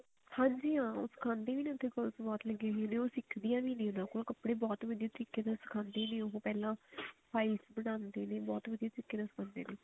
ਹਾਂਜੀ ਹਾਂ ਉਹ ਸਿਖਾਉਂਦੇ ਵੀ ਨੇ ਬਹੁਤ ਲੱਗੀ ਹੋਈਆਂ ਨੇ ਉਹ ਸਿੱਖ ਦੀਆਂ ਵੀ ਨੇ ਉਹ ਕੱਪੜੇ ਬਹੁਤ ਵਧੀਆ ਤਰੀਕੇ ਨਾਲ ਸਿਖਾਉਂਦੇ ਨੇ ਪਹਿਲਾਂ files ਬਣਾਉਂਦੇ ਨੇ ਬਹੁਤ ਵਧੀਆ ਤਰੀਕੇ ਨਾਲ ਸਿਖਾਉਂਦੇ ਨੇ